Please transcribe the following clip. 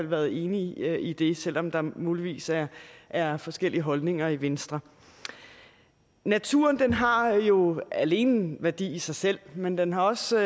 være enig i det selv om der muligvis er er forskellige holdninger i venstre naturen har jo alene værdi i sig selv men den har også